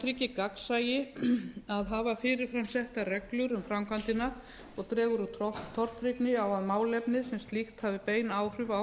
það tryggir gagnsæi að hafa fyrirframsettar reglur um framkvæmdina og dregur úr tortryggni á að málefnið sem slíkt hafi bein áhrif á